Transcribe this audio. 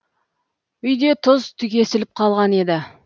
үйде тұз түгесіліп қалған еді